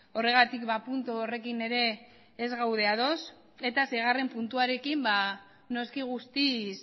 horregatik puntu horrekin ere ez gaude ados eta seigarrena puntuarekin noski guztiz